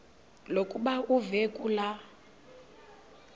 lokuba uve kulaa